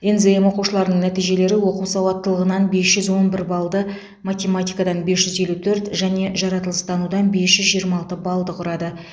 нзм оқушыларының нәтижелері оқу сауаттылығынан бес жүз он бір балды математикадан бес жүз елу төрт және жаратылыстанудан бес жүз жиырма алты балды құрады